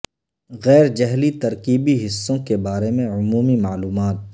غیر جھلی ترکیبی حصوں کے بارے میں عمومی معلومات